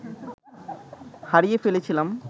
হারিয়ে ফেলেছিলাম